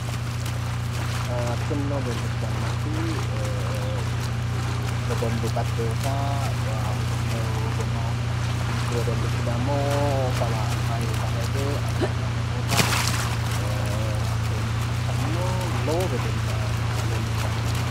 Tinino leellishshannoti wedellu wedellu batirewoota wedellahono, mittu wedellichi dammo kawa alba kawa hige afoo fane noota hakkoye leellishanno, lowo wedella leellishshanno.